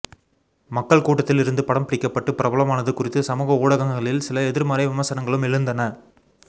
மக்கள் கூட்டத்தில் இருந்து படம் பிடிக்கப்பட்டு பிரபலமானது குறித்து சமூக ஊடகங்களில் சில எதிர்மறை விமர்சனங்களும் எழுந்தன